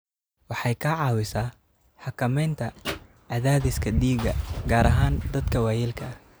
Waxay ka caawisaa xakamaynta cadaadiska dhiigga, gaar ahaan dadka waayeelka ah.